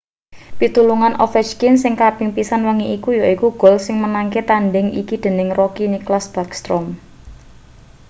pitulungan ovechkin sing kaping pisan wengi iki yaiku gol sing menangke-tandhing iki dening rookie nicklas backstrom